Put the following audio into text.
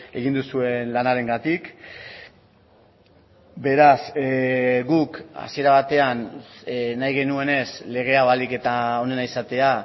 egin duzuen lanarengatik beraz guk hasiera batean nahi genuenez lege hau ahalik eta onena izatea